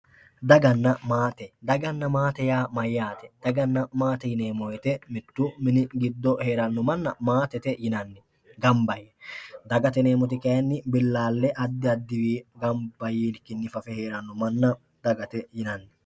Daganna maate daganna maate yaa mayyaate daganna maate yineemmo woyte mittu mini giddo heeranno manna maatete yinanni gamba yee dagate yineemmoti kayinni billaalle addi addiwii gamba yiikkinni fafe heeranno manna dagate yinanni